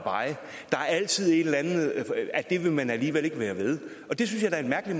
er altid et eller andet med at det vil man alligevel ikke være ved og det synes jeg da er